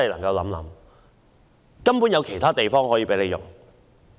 是否沒有其他空置校舍可以使用？